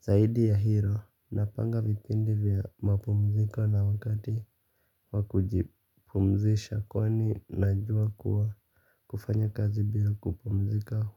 Zaidi ya hilo napanga vipindi vya mapumziko na wakati wakujipumzisha kwani najua kuwa kufanya kazi bila kupumzika.